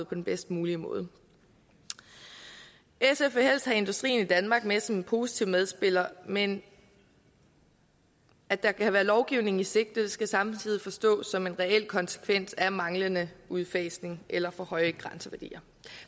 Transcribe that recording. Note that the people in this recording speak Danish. på den bedst mulige måde sf vil helst have industrien i danmark med som en positiv medspiller men at der kan være lovgivning i sigte skal samtidig forstås som en reel konsekvens af manglende udfasning eller for høje grænseværdier